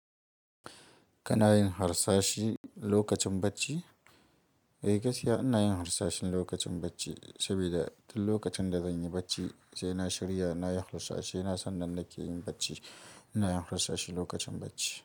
Kana yin harsashi lokacin bacci? Eh gaskiya ina yin harsashe lokacin bacci, saboda duk lokacin da zan yi bacci sai na shirya na yi harsashe. Na san nan nake yin bacci, ina yin harsashi lokacin bacci.